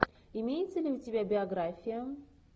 имеется ли у тебя биография